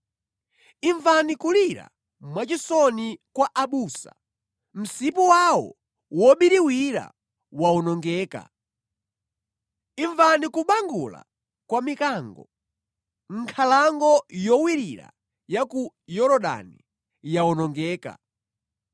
Imvani kulira mwachisoni kwa abusa; msipu wawo wobiriwira wawonongeka! Imvani kubangula kwa mikango; nkhalango yowirira ya ku Yorodani yawonongeka!